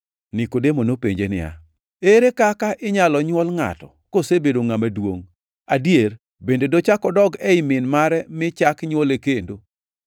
Nikodemo nopenje niya, “Ere kaka inyalo nywol ngʼato kosebedo ngʼama duongʼ? Adier, bende dochak odog ei min mare mi chak nywole kendo!”